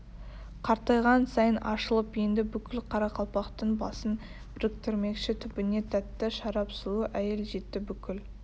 қартайған сайын ашылып енді бүкіл қарақалпақтың басын біріктірмекші түбіне тәтті шарап сұлу әйел жетті бүкіл